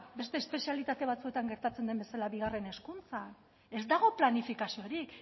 beste espezialitate batzuetan gertatzen den bezala bigarren hezkuntzan ez dago planifikaziorik